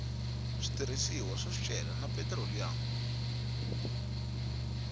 switirhisiwa swa swicelwa na petiroliyamu